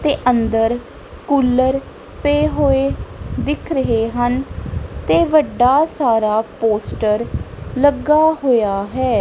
ਤੇ ਅੰਦਰ ਕੂਲਰ ਪਏ ਹੋਏ ਦਿਖ ਰਹੇ ਹਨ ਤੇ ਵੱਡਾ ਸਾਰਾ ਪੋਸਟਰ ਲੱਗਾ ਹੋਇਆ ਹੈ।